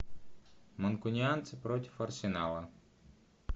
манкунианцы против арсенала